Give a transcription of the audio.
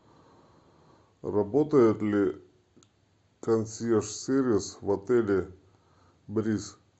работает ли консьерж сервис в отеле бриз